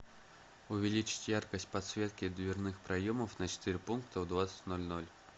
увеличить яркость подсветки дверных проемов на четыре пункта в двадцать ноль ноль